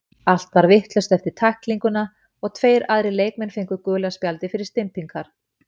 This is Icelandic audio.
Allt varð vitlaust eftir tæklinguna og tveir aðrir leikmenn fengu gula spjaldið fyrir stympingar.